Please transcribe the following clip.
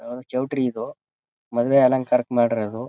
ಯಾವ್ದೋ ಚೌಲ್ಟ್ರಿ ಇದು. ಮದುವೆ ಅಲಂಕಾರಕ್ಕೆ ಮಾಡಿರೋದು.